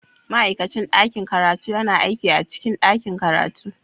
Ma'aikacin ɗakin karatu yana aiki a cikin ɗakin karatu